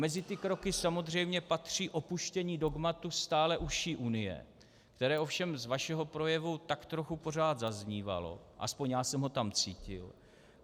Mezi ty kroky samozřejmě patří opuštění dogmatu stále užší Unie, které ovšem z vašeho projevu tak trochu pořád zaznívalo, alespoň já jsem ho tam cítil.